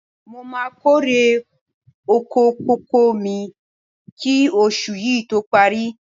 Mo máa kórè oko kókò mi kí oṣù yí tó parí.